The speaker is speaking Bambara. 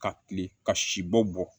Ka kilen ka sibɔ bɔ